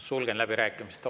Sulgen läbirääkimised.